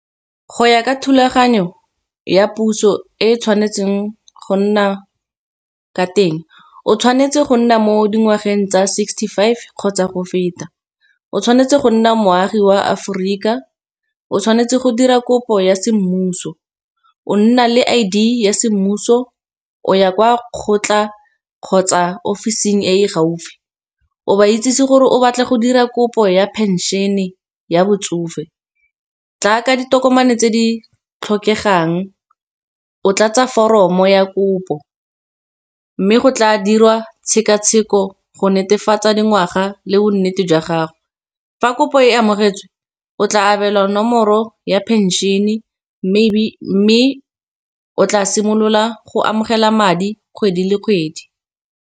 Go ya ka thulaganyo ya puso e tshwanetseng go nna ka teng, o tshwanetse go nna mo dingwageng tsa sixty-five kgotsa go feta. O tshwanetse go nna moagi wa Aforika, o tshwanetse go dira kopo ya semmuso, o nna le I_D ya semmuso o ya kwa kgotla kgotsa ofising e gaufi. O ba itsisi gore o batla go dira kopo ya pension-e ya botsofe jaaka ditokomane tse di tlhokegang, o tlatse foromo ya kopo mme go tla dirwa tshekatsheko go netefatsa dingwaga le bonnete jwa gago. Fa kopo e amogetswe o tla abelwa nomoro ya pension-e, mme o tla simolola go amogela madi kgwedi le kgwedi.